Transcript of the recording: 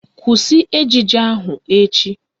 Kwụsị ejije ahụ echi!